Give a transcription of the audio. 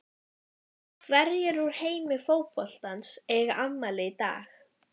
Hverjir úr heimi fótboltans eiga afmæli í dag?